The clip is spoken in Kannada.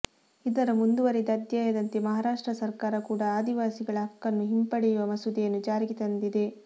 ಇದರ ಮುಂದುವರಿದ ಅಧ್ಯಾಯದಂತೆ ಮಹಾರಾಷ್ಟ್ರ ಸರಕಾರ ಕೂಡ ಆದಿವಾಸಿಗಳ ಹಕ್ಕನ್ನು ಹಿಂಪಡೆಯುವ ಮಸೂದೆಯನ್ನು ಜಾರಿಗೆ ತಂದಿದೆ